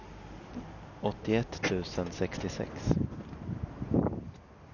åttioett tusen sextiosex